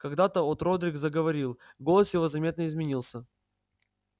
когда от родрик заговорил голос его заметно изменился